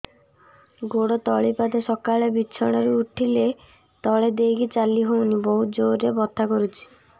ଗୋଡ ତଳି ପାଦ ସକାଳେ ବିଛଣା ରୁ ଉଠିଲେ ତଳେ ଦେଇକି ଚାଲିହଉନି ବହୁତ ଜୋର ରେ ବଥା କରୁଛି